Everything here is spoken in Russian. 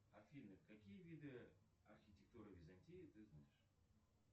афина какие виды архитектуры византии ты знаешь